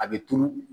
A bɛ turu